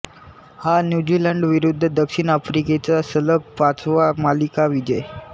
हा न्यूझीलंडविरुद्ध दक्षिण आफ्रिकेचा सलग पाचवा मालिका विजय